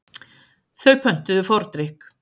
Þau pöntuðu fordrykk.